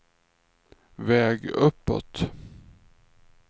väg uppåt